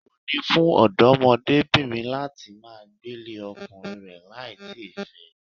Èwo ni fún ọ̀dọ́mọbìnrin láti máa gbélé ọkùnrin rẹ láì tí ì fẹ́ ẹ